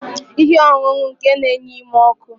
Ihe ọṅụṅụ ike na-enye ume ọkụ